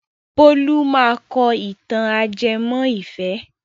Bólú máa kọ ìtàn ajẹmọ́ ìfẹ́.